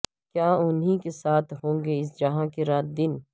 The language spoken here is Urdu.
کیا انہیں کے ساتھ ہونگے اس جہاں کے رات دن